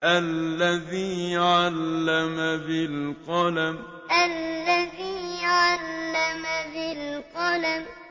الَّذِي عَلَّمَ بِالْقَلَمِ الَّذِي عَلَّمَ بِالْقَلَمِ